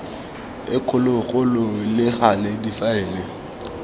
e kgologolo le gale difaele